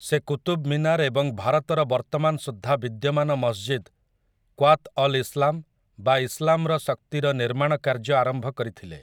ସେ କୁତୁବ୍ ମୀନାର୍ ଏବଂ ଭାରତର ବର୍ତ୍ତମାନ ସୁଦ୍ଧା ବିଦ୍ୟମାନ ମସ୍‌ଜିଦ୍, କ୍ୱାତ୍ ଅଲ୍ ଇସ୍ଲାମ୍ ବା ଇସ୍ଲାମ୍‌ର ଶକ୍ତିର ନିର୍ମାଣ କାର୍ଯ୍ୟ ଆରମ୍ଭ କରିଥିଲେ ।